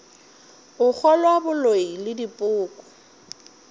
go kgolwa boloi le dipoko